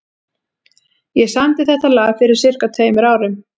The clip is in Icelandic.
Ég samdi þetta lag fyrir sirka tveimur árum.